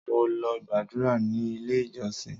Mo lọ gbàdúrà ní ilé ìjọsìn.